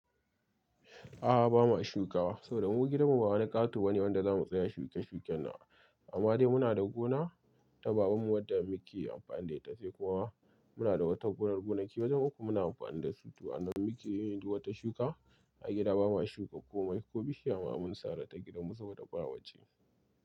A'a, ba ma shuka. Saboda mu gidanmu ba wani ƙato bane wanda za mu tsaya shuke-shukenan. Amma dai muna da gona ta babanmu wadda muke amfani da ita, sai kuma muna da wata gonar gonaki wajen uku muna amfani da su. To, a nan muke yin duk wata shuka. A gida ba ma shuka komai, ko bishiya ma mun sare ta gidanmu saboda bawaje.